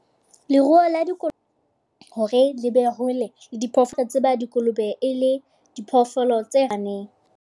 Leruo la , hore le be hole le diphoofolo tse ba dikolobe e le diphoofolo tse .